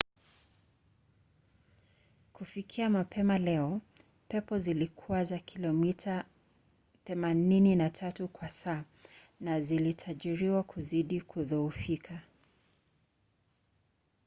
kufikia mapema leo pepo zilikuwa za kilomita 83 kwa saa na zilitarajiwa kuzidi kudhoofika